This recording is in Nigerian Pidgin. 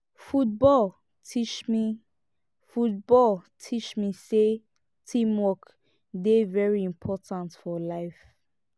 football teach me football teach me sey teamwork dey very important for life